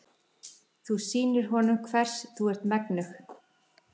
Þú sýnir honum hvers þú ert megnug.